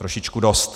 Trošičku dost.